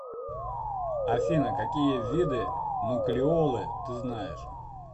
афина какие виды нуклеолы ты знаешь